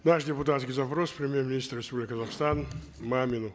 наш депутатский запрос премьер министру республики казахстан мамину